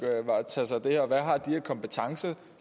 tage sig af det her og hvad har de af kompetencer